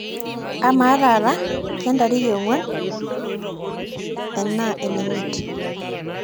amaa taa kentariki ee iong; uan enaa ene imiate